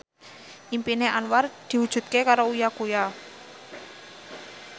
impine Anwar diwujudke karo Uya Kuya